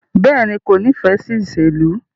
Bẹẹni, ko nifẹ si iṣelu